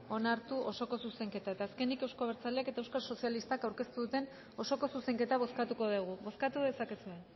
onartu osoko zuzenketa eta azkenik euzko abertzaleak eta euskal sozialistak aurkeztu duten osoko zuzenketa bozkatuko dugu bozkatu dezakezue